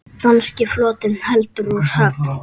Danski flotinn heldur úr höfn!